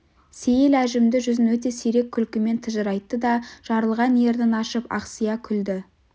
сейіл әжімді жүзін өте сирек күлкімен тыжырайтты да жарылған ернін ашып ақсия күлді